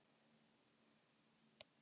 Innkoma hjá Hildi leikfimikennara.